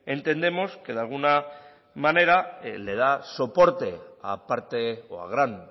entendemos que de alguna manera le da soporte a parte o a gran